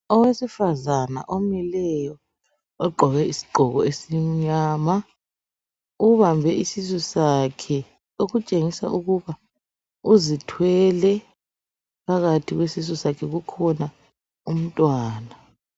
Owesifazana omileyo ogqoke isigqoko esimnyama ,ubambe isisu sakhe .Okutshengisa ukuba uzithwele ,phakathi kwesisu sakhe kukhona umntwana.